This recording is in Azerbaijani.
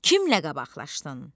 Kimlə qabaqlaşdın?